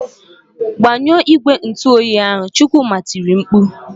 "Gbanyụọ igwe ntụoyi ahụ!" Chukwuma tiri mkpu.